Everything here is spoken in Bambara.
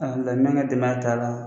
ka denbaya taa la.